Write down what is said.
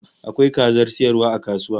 Akwai kazan sayarwa a kasuwa?